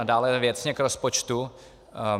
A dále věcně k rozpočtu.